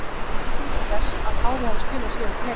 En hvað kom til þess að Kári hafi spilað síðasta leik?